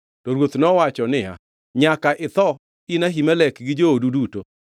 To ruoth nowacho niya, “Nyaka itho, in Ahimelek gi joodu duto.”